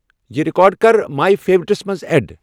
یِہ ریکارڈ کر ماے فیورٹس منز ایڈ ۔